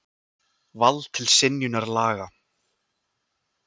Vald til synjunar laga.